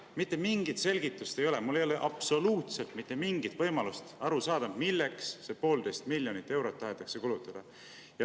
Mitte mingit selgitust ei ole, mul ei ole absoluutselt mitte mingit võimalust aru saada, milleks see 1,5 miljonit eurot tahetakse kulutada.